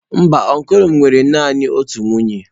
Mba ọncụl m nwere naanị otu nwunye.